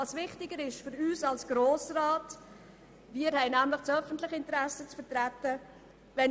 Wir als Grosser Rat haben das öffentliche Interesse zu vertreten und deshalb ist Folgendes wichtig: